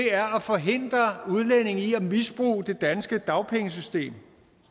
er at forhindre udlændinge i at misbruge det danske dagpengesystem